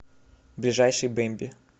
ближайший бэмби